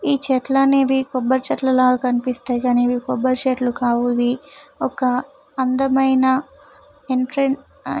ఈ చెట్లు అనేవి కొబ్బరి చెట్లల కనిపిస్తున్నాయి కానీ కొబ్బరి చెట్లు కావు ఇవి ఒక అందమైన ఎంట్రన్స్ ఆ --